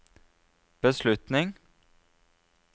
beslutning